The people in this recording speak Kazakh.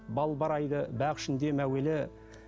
балбырайды бақ ішінде мәуелі